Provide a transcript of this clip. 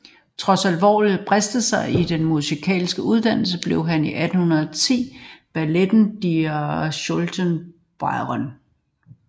Trods alvorlige brister i sin musikalske uddannelse skrev han 1810 balletten Die stoltze Bäuerin